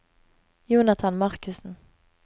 Jonathan Markussen